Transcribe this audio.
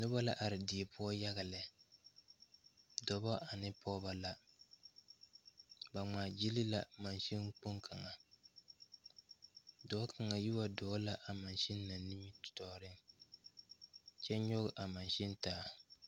Noba la are die poɔ yaga lɛ dɔɔbo ane pɔgebo la ba ŋmaa gyile la mansine kpoŋ kaŋa dɔɔ kaŋa yi waa dɔɔ la a mansine kpoŋ na nimitɔɔre kyɛ nyoŋ a mansine taa.